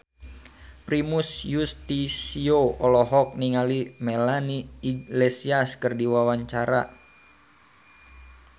Primus Yustisio olohok ningali Melanie Iglesias keur diwawancara